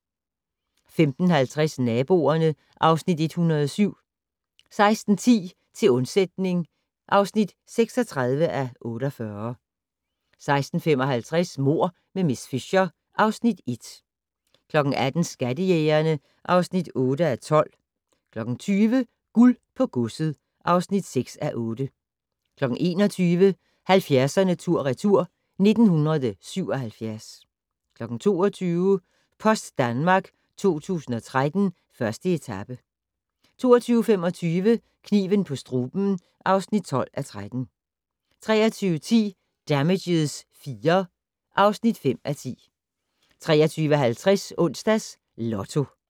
15:50: Naboerne (Afs. 107) 16:10: Til undsætning (36:48) 16:55: Mord med miss Fisher (Afs. 1) 18:00: Skattejægerne (8:12) 20:00: Guld på godset (6:8) 21:00: 70'erne tur retur: 1977 22:00: Post Danmark 2013: 1. etape 22:25: Kniven på struben (12:13) 23:10: Damages IV (5:10) 23:50: Onsdags Lotto